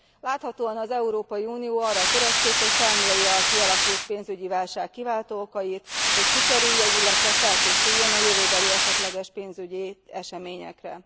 Láthatóan az Európai Unió arra törekszik, hogy felmérje a kialakult pénzügyi válság kiváltó okait, hogy kikerülje, illetve felkészüljön a jövőbeli esetleges pénzügyi eseményekre.